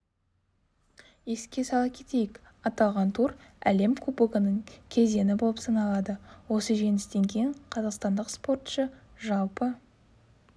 еске сала кетейік аталған тур әлем кубогының кезеңі болып саналады осы жеңістен кейін қазақстандық спортшы жалпы